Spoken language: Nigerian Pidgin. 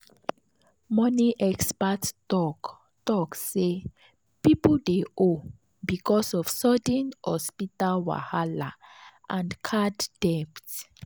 money expert talk talk say people dey owe because of sudden hospital wahala and card debt.